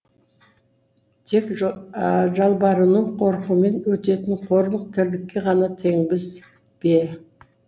тек жалбарыну қорқумен өтетін қорлық тірлікке ғана теңбіз бе